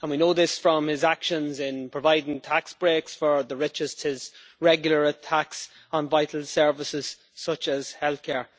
We know this from his actions in providing tax breaks for the richest, and his regular attacks on vital services such as health care.